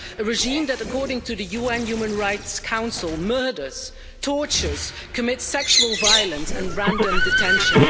A regime that, according to the UN Human Rights Council, murders, tortures, commits sexual violence and random detention.